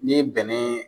Ni bɛnɛ